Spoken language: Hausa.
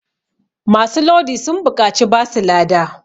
masu Lodi sun buƙaci basu lada